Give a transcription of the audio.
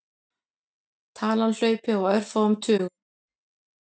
Talan hlaupi á örfáum tugum.